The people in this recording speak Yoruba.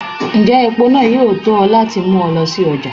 njẹ epo náá yọọ to lati mu ọ lọ si ọja?